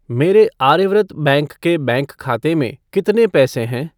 मेरे आर्यव्रत बैंक के बैंकखाते में कितने पैसे हैं?